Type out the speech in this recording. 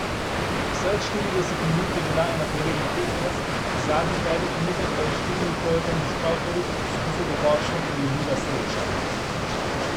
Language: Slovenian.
Vseh štirideset minut je bila enakovreden tekmec, v zadnjih petih minutah pa je s štirimi trojkami iz prav toliko poskusov dokončno prelomila srečanje.